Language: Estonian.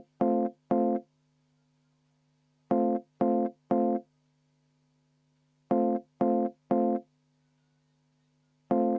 Aga vaheaeg kümme minutit.